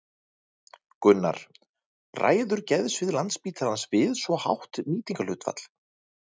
Gunnar: Ræður geðsvið Landspítalans við svo hátt nýtingarhlutfall?